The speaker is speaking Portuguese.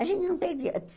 A gente não perdia.